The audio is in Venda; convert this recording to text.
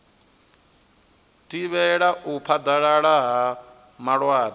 thivhela u phaḓalala ha malwadze